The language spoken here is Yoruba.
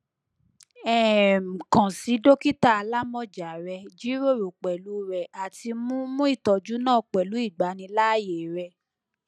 um kan si dokita alamọja rẹ jiroro pẹlu rẹ ati mu mu itọju naa pẹlu igbanilaaye re